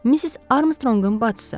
Missis Armstrongun bacısı.